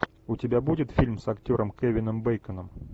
у тебя будет фильм с актером кевином бейконом